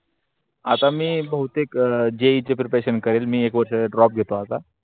आता मी बोहुतेक he च्‍या preparation करेल मी एक वर्षा च ड्रॉप घेतो आता.